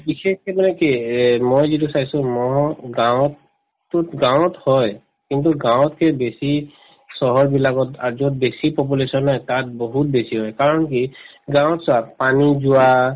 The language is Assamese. বিশেষকে মানে কি মই যিটো চাইছো মহ গাঁৱত গাঁৱত হয় কিন্তু গাঁৱতকে বেছি চহৰ বিলাকত আৰু যত বেছি population নহয় তাত বহুত বেছি হয় কাৰণ কি গাঁৱত চাওঁক পানী যোৱা